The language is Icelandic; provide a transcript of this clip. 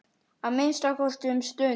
Að minnsta kosti um stund.